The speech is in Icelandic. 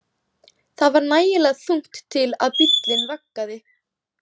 Það var nægilega þungt til að bíllinn vaggaði.